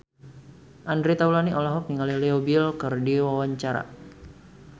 Andre Taulany olohok ningali Leo Bill keur diwawancara